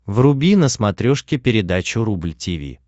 вруби на смотрешке передачу рубль ти ви